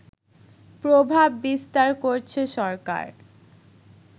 প্রভাব বিস্তার করছে সরকার